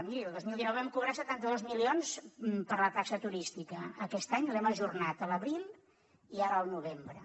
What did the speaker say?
miri el dos mil dinou vam cobrar setanta dos milions per la taxa turística aquest any l’hem ajornat a l’abril i ara al novembre